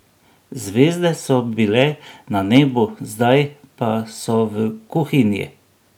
Zvezde so bile na nebu, zdaj pa so v kuhinji!